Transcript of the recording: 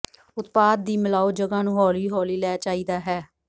ਉਤਪਾਦ ਦੀ ਿਮਲਾਓ ਜਗ੍ਹਾ ਨੂੰ ਹੌਲੀ ਹੌਲੀ ਲੈ ਚਾਹੀਦਾ ਹੈ